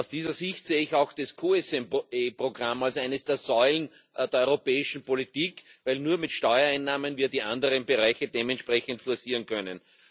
Aus dieser Sicht sehe ich auch das COSME Programm als eine der Säulen der europäischen Politik, weil wir nur mit Steuereinnahmen die anderen Bereiche dementsprechend forcieren können.